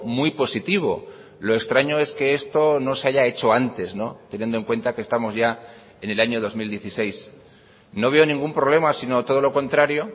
muy positivo lo extraño es que esto no se haya hecho antes teniendo en cuenta que estamos ya en el año dos mil dieciséis no veo ningún problema sino todo lo contrario